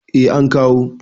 eh an kawo